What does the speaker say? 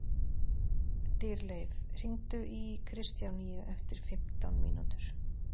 Dýrleif, hringdu í Kristjánínu eftir fimmtán mínútur.